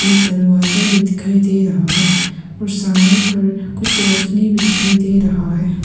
दरवाजा भी दिखाई दे रहा है और सामने पर कुछ रोशनी भी दिखाई दे रहा है।